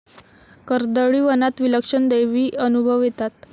कर्दळीवनात विलक्षण दैवी अनुभव येतात.